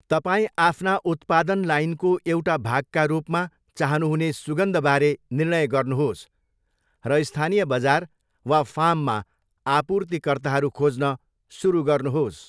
तपाईँ आफ्ना उत्पादन लाइनको एउटा भागका रूपमा चाहनुहुने सुगन्धबारे निर्णय गर्नुहोस् र स्थानीय बजार वा फार्ममा आपूर्तिकर्ताहरू खोज्न सुरु गर्नुहोस्।